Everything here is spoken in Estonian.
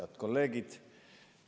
Head kolleegid!